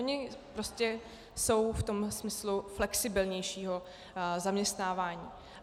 Oni prostě jsou v tom smyslu flexibilnějšího zaměstnávání.